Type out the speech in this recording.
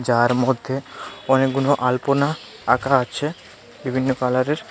যার মধ্যে অনেকগুলো আলপনা আঁকা আছে বিভিন্ন কালারের.